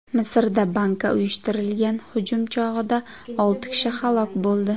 Misrda bankka uyushtirilgan hujum chog‘ida olti kishi halok bo‘ldi.